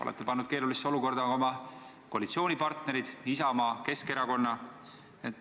Olete pannud keerulisse olukorda ka oma koalitsioonipartnerid Isamaa ja Keskerakonna.